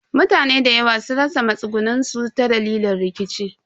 Mutane dayawa sun rasa matsugunin su ta dalilin rikici.